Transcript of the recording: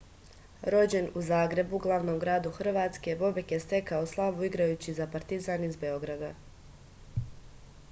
rođen u zagrebu glavnom gradu hrvatske bobek je stekao slavu igrajući za partizan iz beograda